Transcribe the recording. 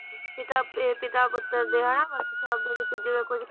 ਪਿਤਾ ਇਹ ਪਿਤਾ ਪੁੱਤਰ ਦੇ ਹਨਾ ਜਿਵੇ ਕੁਛ